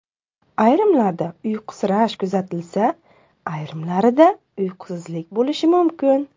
Ayrimlarda uyqusirash kuzatilsa, ayrimlarida uyqusizlik bo‘lishi mumkin.